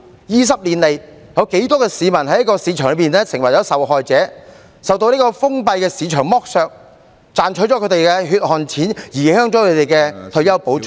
二十年來，有多少市民在市場中成為受害者，受到封閉的市場剝削，賺取了他們的血汗錢、影響他們的退休保障......